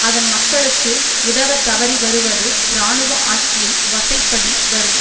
அதன் மக்களுக்கு உதவ தவறி வருவது இராணுவ ஆட்சியை வசைபாடி வரும்